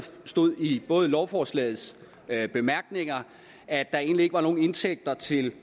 stod i lovforslagets bemærkninger at der egentlig ikke var nogen indtægter til